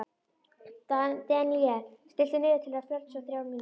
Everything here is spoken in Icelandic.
Deníel, stilltu niðurteljara á fjörutíu og þrjár mínútur.